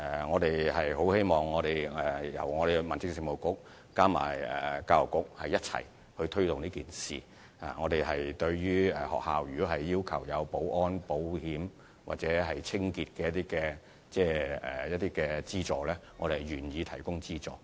我們希望民政事務局和教育局能夠一起推動這項計劃，如果有學校希望政府提供保安、保險或清潔方面的資助，我們也願意這樣做。